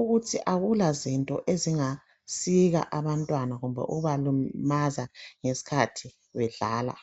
ukuthi akua zinto ezingasika abantwana loba ukubalimaza nxabedlala